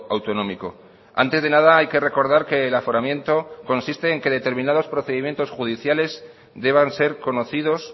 autonómico antes de nada hay que recordar que el aforamiento consiste en que determinados procedimientos judiciales deban ser conocidos